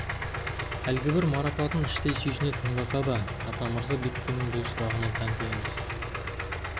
әлгібір марапатын іштей сүйсіне тыңдаса да атамырза бектеннің бұл сұрағына тәнті емес